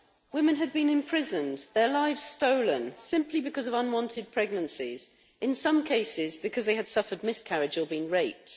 Women had been imprisoned, their lives stolen, simply because of unwanted pregnancies, in some cases because they had suffered miscarriage or been raped.